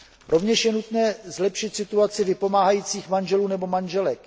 Rovněž je nutné zlepšit situaci vypomáhajících manželů nebo manželek.